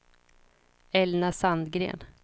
Elna Sandgren